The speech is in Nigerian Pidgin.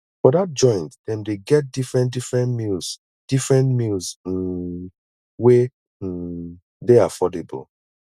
for dat joint dem dey get different different meals different meals um wey um dey affordable